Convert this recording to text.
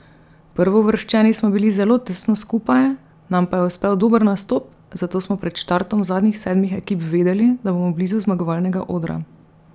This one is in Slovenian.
Prvouvrščeni smo bili zelo tesno skupaj, nam pa je uspel dober nastop, zato smo pred štartom zadnjih sedmih ekip vedeli, da bomo blizu zmagovalnega odra.